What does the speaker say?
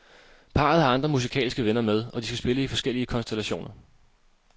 Parret har andre musikalske venner med, og de skal spille i forskellige konstellationer.